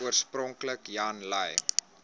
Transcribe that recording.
oorspronklik jan lui